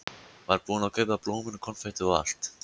Var búinn að kaupa blómin og konfektið og allt.